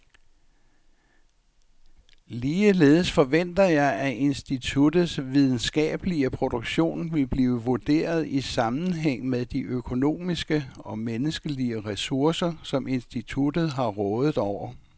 Ligeledes forventer jeg, at instituttets videnskabelige produktion vil blive vurderet i sammenhæng med de økonomiske og menneskelige ressourcer, som instituttet har rådet over.